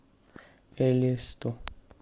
элисту